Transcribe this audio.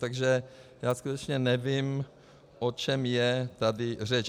Takže já skutečně nevím, o čem je tady řeč.